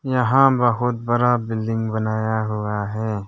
यहां बहुत बड़ा बिल्डिंग बनाया हुआ है।